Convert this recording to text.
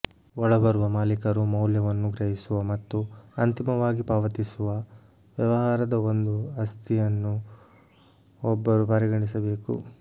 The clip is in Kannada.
ಒಳಬರುವ ಮಾಲೀಕರು ಮೌಲ್ಯವನ್ನು ಗ್ರಹಿಸುವ ಮತ್ತು ಅಂತಿಮವಾಗಿ ಪಾವತಿಸುವ ವ್ಯವಹಾರದ ಒಂದು ಆಸ್ತಿಯನ್ನು ಒಬ್ಬರು ಪರಿಗಣಿಸಬೇಕು